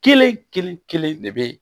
Kelen kelen kelen de bɛ